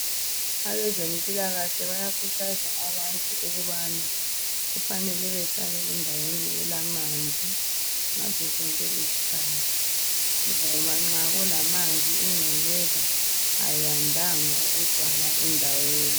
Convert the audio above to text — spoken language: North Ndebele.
Abezempilakahle bayakhuthaza abantu ukubana kufanele behlale endaweni elamanzi ngazo zonke izikhathi ngoba nxa kulamanzi ingcekeza ayandanga ukugcwala endaweni.